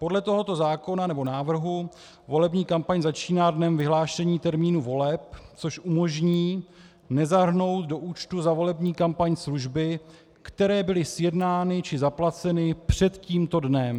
Podle tohoto zákona, nebo návrhu volební kampaň začíná dnem vyhlášení termínu voleb, což umožní nezahrnout do účtu za volební kampaň služby, které byly sjednány či zaplaceny před tímto dnem.